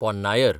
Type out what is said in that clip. Ponnaiyar